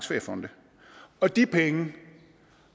feriefond og de penge